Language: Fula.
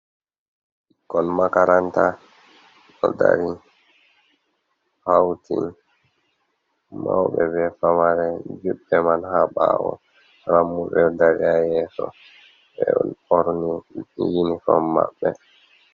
Ɓikkol makaranta: Ɗo dari hauti mauɓe be famare juɓɓe man ha ɓawo rammuɓe dari ha yeso be ɗo borni yinifon maɓɓe.